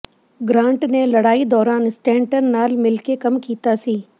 grant ਨੇ ਲੜਾਈ ਦੌਰਾਨ ਸਟੇਨਟਨ ਨਾਲ ਮਿਲ ਕੇ ਕੰਮ ਕੀਤਾ ਸੀ